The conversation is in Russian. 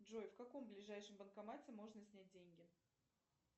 джой в каком ближайшем банкомате можно снять деньги